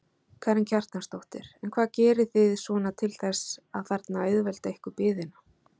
Karen Kjartansdóttir: En hvað gerið þið svona til þess að þarna auðvelda ykkur biðina?